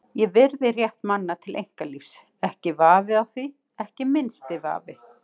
Ég virði rétt manna til einkalífs, ekki vafi á því, ekki minnsti vafi.